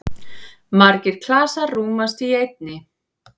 Margir klasar rúmast í einni.